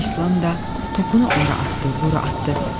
İslam da topunu ora atdı, bura atdı.